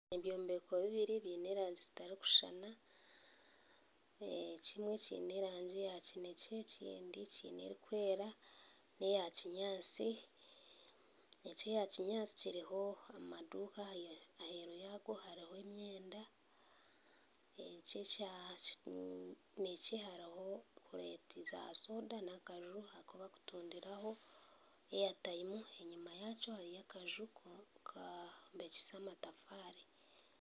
Ebyombeko bibiri biine erangi zitarikushushana ekimwe kiine erangi eya kinekye ekindi kiine erikwera neya kinyatsi eki ekya kinyatsi kiriho amaduuka enyuma yaayo hariho emyenda eki ekya kinekye hariho kureeti za soda nakaju kubarikutundiraho airtime enyuma yaakyo hariyo akaju kubombekise amatafaari